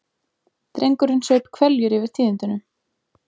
Drengurinn saup hveljur yfir tíðindunum.